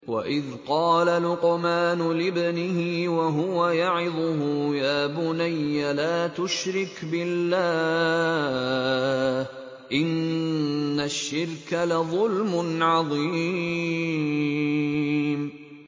وَإِذْ قَالَ لُقْمَانُ لِابْنِهِ وَهُوَ يَعِظُهُ يَا بُنَيَّ لَا تُشْرِكْ بِاللَّهِ ۖ إِنَّ الشِّرْكَ لَظُلْمٌ عَظِيمٌ